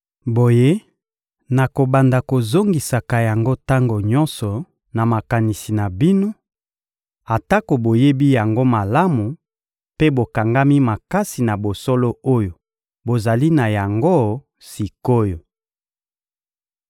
Boye, nakobanda kozongisaka yango tango nyonso na makanisi na bino, atako boyebi yango malamu mpe bokangami makasi na bosolo oyo bozali na yango sik’oyo.